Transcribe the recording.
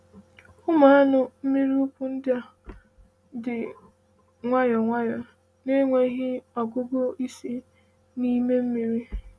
“Ụmụ anụ mmiri ukwu ndị a dị nwayọọ nwayọọ na-enweghị ọgụgụ isi n’ime mmiri?”